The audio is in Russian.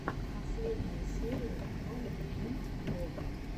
последняя серия кронгеймблог